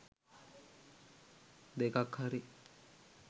දෙකක් හරි